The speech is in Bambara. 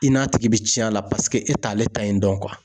I n'a tigi bɛ cɛn a la, paseke e t'ale ta ye dɔn.